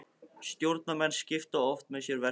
Stjórnarmenn skipta oft með sér verkum.